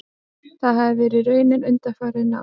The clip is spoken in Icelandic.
Það hafi verið raunin undanfarin ár